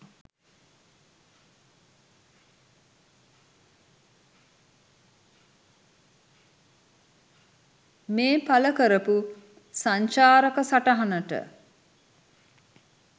මේ පළකරපු සංචාරක සටහනට